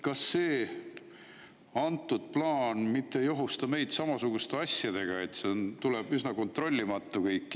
Kas see, antud plaan mitte ei ohusta meid samasuguste asjadega, et see tuleb üsna kontrollimatu kõik?